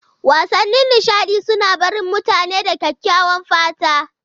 Wasannin nishaɗi suna barin mutane da kyakkyawan fata.